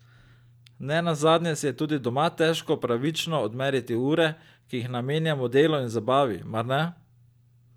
Ne nazadnje si je tudi doma težko pravično odmeriti ure, ki jih namenjamo delu in zabavi, mar ne?